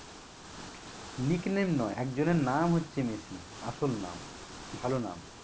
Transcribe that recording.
Nickname না একজনের নাম হচ্ছে মেসি, আসল নাম ভালো নাম